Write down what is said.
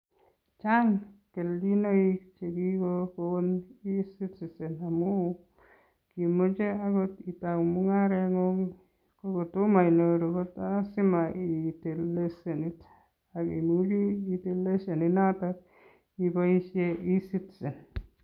Chaang keljinaik che kikokoon e citizen amuun imache akoot itau mungaret nguung ko kotomah inyoruu ko lazima itil leshenit akiburi itil leshenit notoon ibaisheen [e citizen]